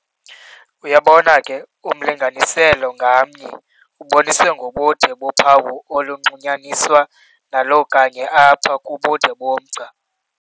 uyabona ke, umlinganiselo ngamnye uboniswe ngobude bophawu onxulunyaniswa nalo kanye apha kubude bomgca.